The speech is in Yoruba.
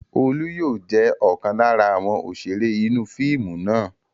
Olú yóò jẹ́ ọ̀kan lára àwọn òṣèré inú fíìmù náà.